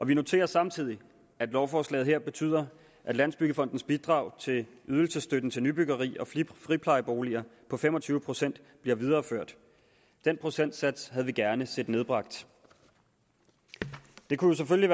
vi noterer samtidig at lovforslaget her betyder at landsbyggefondens bidrag til ydelsesstøtten til nybyggeri og friplejeboliger på fem og tyve procent bliver videreført den procentsats havde vi gerne set nedbragt det kunne selvfølgelig